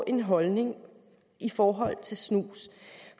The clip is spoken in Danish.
en holdning i forhold til snus